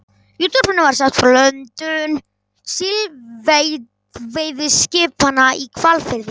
Í útvarpinu var sagt frá löndun síldveiðiskipanna í Hvalfirði.